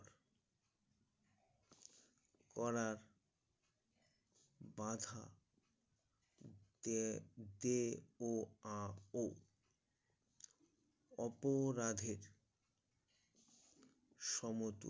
করার বাধা তে দে ও আ ও অপরাধের সমতু